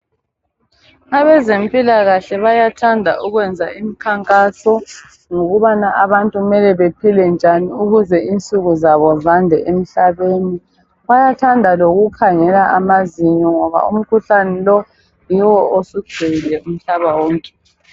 Abezempilakahle bayathanda ukwenza imikhankaso ngokubana abantu kumele baphile njani ukuze insuku zabo zande emhlabeni. Bayathanda lokukhangela amazinyo ngoba umkhuhlane lo yiwo osugcwele umhlaba wonke.